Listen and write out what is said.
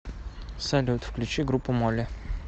салют включи группу молли